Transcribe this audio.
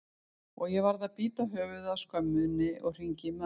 og ég varð að bíta höfuðið af skömminni og hringja í mömmu.